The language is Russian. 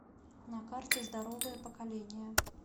на карте здоровое поколение